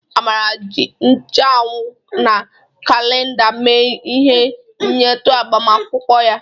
Amara jiri ncheanwụ na kalenda mee ihe nyetu agbamakwụkwọ ya.